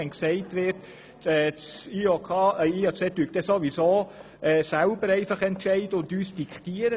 Und wenn gesagt wird, das IOC entscheide dann ohnehin selber und würde uns diktieren: